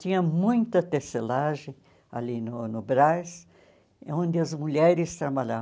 Tinha muita tecelagem ali no no Brás, onde as mulheres trabalhavam.